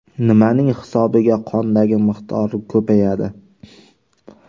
Nimaning hisobiga qondagi miqdori ko‘payadi?